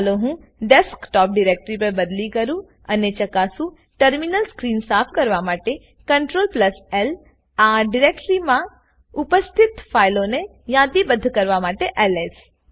ચાલો હું desktop directory પર બદલી કરું અને ચકાસુંટર્મિનલ સ્ક્રીન સાફ કરવા માટે CTRLLઆ ડિરેક્ટરીમાં ઉપસ્થિત ફાઈલોને યાદીબ્ધ કરવા માટે એલએસ